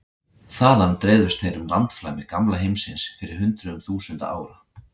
Þaðan dreifðust þeir um landflæmi gamla heimsins fyrir hundruðum þúsunda ára.